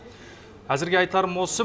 әзірге айтарым осы